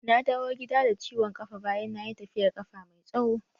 Na dawo gida da ciwon kafa bayan nayi tafiyar kafa mai tsawo.